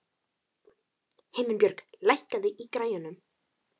Himinbjörg, lækkaðu í græjunum.